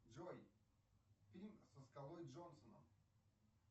джой фильм со скалой джонсоном